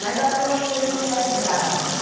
Mas acho que é uma família de mulheres bravas.